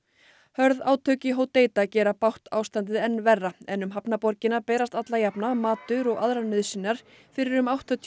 hörð átök í gera bágt ástandið enn verra en um hafnarborgina berast alla jafna matur og aðrar nauðsynjar fyrir um áttatíu